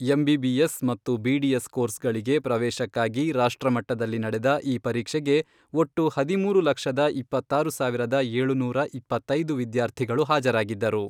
MBBS ಮತ್ತು BDS ಕೋರ್ಸ್ಗಳಿಗೆ ಪ್ರವೇಶಕ್ಕಾಗಿ ರಾಷ್ಟ್ರ ಮಟ್ಟದಲ್ಲಿ ನಡೆದ ಈ ಪರೀಕ್ಷೆಗೆ ಒಟ್ಟು ಹದಿಮೂರು ಲಕ್ಷದ ಇಪ್ಪತ್ತಾರು ಸಾವಿರದ ಏಳುನೂರ ಇಪ್ಪತ್ತೈದು ವಿದ್ಯಾರ್ಥಿಗಳು ಹಾಜರಾಗಿದ್ದರು.